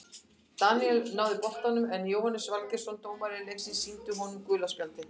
Daníel náði boltanum en Jóhannes Valgeirsson dómari leiksins sýndi honum gula spjaldið.